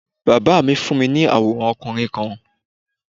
Bàbá mi fún mi ní àwọ̀rán okùnrin kan